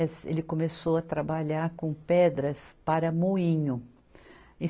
Ele começou a trabalhar com pedras para moinho.